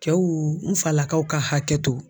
Cɛw n falakaw ka hakɛto